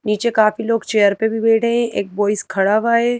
नीचे काफी लोग चेयर पे भी बैठे हैं एक बॉइस खड़ा हुआ है।